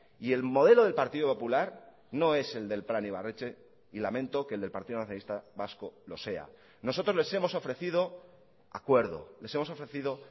y el modelo del partido popular no es el del plan ibarretxe y lamento que el del partido nacionalista vasco lo sea nosotros les hemos ofrecido acuerdo les hemos ofrecido